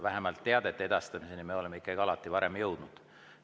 Vähemalt teadete edastamiseni me oleme varem alati jõudnud.